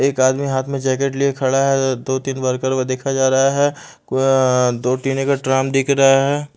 एक आदमी हाथ में जैकेट लिए खड़ा है दो तीन वर्कर को देखा जा रहा है अं दो टिने का ट्राम दिख रहा है।